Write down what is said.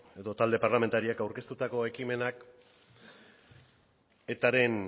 edo talde parlamentariak aurkeztutako ekimenak etaren